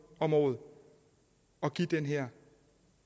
om året at give den her